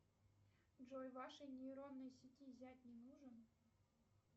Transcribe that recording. джой вашей нейронной сети зять не нужен